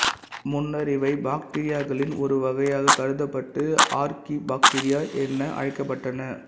முன்னர் இவை பாக்டீரியாக்களின் ஒரு வகையாகக் கருதப்பட்டு ஆர்க்கீபாக்டீரியா என அழைக்கப்பட்டன